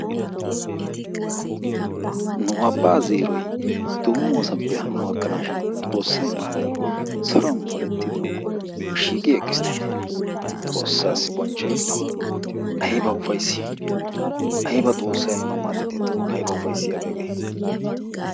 Nu abbaa zeeroy domossappe hanno gakkanashshin xoossay maadin saruwaani polettanawu shiiqi eqqisttenne, xoossasi bonchchoy gido, aybba ufayssi aybba xoossay nuna madidde tumma aybba ufaysiyabbe hagge.